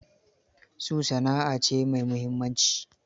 Su, sana'a a ce mai muhimmanci.